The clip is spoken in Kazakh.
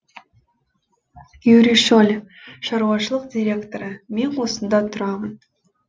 юрий шоль шаруашылық директоры мен осында тұрамын